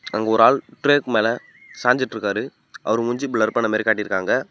அங்க ஒரு ஆல் ட்ரெக் மேல சாஞ்சிட்டு இருக்காரு அவர் மூஞ்சி பிளர் பண்ணமாரி காட்யி இருகாங்க.